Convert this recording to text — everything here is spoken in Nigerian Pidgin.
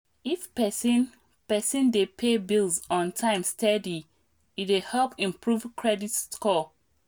if person person dey pay bills on time steady e dey help improve credit score.